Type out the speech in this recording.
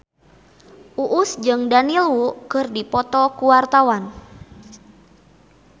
Uus jeung Daniel Wu keur dipoto ku wartawan